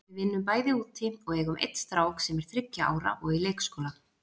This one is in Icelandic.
Við vinnum bæði úti og eigum einn strák sem er þriggja ára og í leikskóla.